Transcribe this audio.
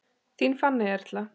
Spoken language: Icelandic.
Þín Fanney Erla.